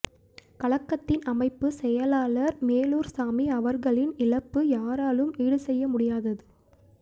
கழகத்தின் அமைப்பு செயலாளர் மேலூர் சாமி அவர்களின் இழப்பு யாராலும் ஈடு செய்ய முடியாதது